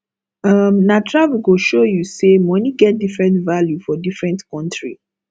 um na travel go show you say money get different value for different country